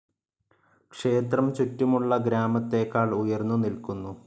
ക്ഷേത്രം ചുറ്റുമുള്ള ഗ്രാമത്തേക്കാൾ ഉയർന്നു നിൽക്കുന്നു.